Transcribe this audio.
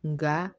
Nka